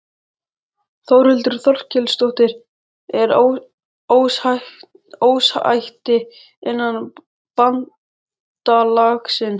Þórhildur Þorkelsdóttir: Er ósætti innan bandalagsins?